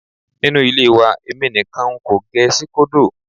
Nínú ilé wa èmi nìkan n kò gẹ síkódò.